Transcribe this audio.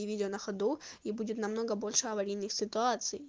и видео на ходу и будет намного больше аварийных ситуаций